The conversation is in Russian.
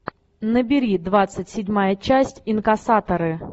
набери двадцать седьмая часть инкассаторы